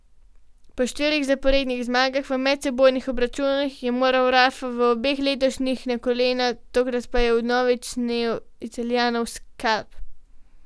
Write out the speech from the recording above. Po štirih zaporednih zmagah v medsebojnih obračunih je moral Rafa v obeh letošnjih na kolena, tokrat pa je vnovič snel Italijanov skalp.